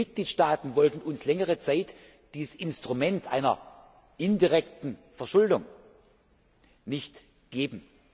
Die Mitgliedstaaten wollten uns längere Zeit dieses Instrument einer indirekten Verschuldung nicht geben.